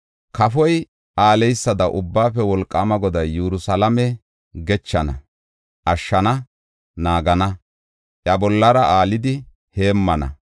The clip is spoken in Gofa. Kafoy aaleysada Ubbaafe Wolqaama Goday Yerusalaame gechana, ashshana, naagana; iya bollara aalidi heemmana.